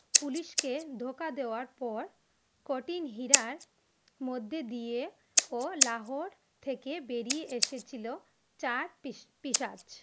Police কে ধোকা দেবার পর কোটিই হীরার মধে দিয়ে ও লাহোর থেকে বেরিয়ে এসেছিল চার পিশা পিশাচ ।